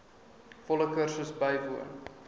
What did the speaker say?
volle kursus bywoon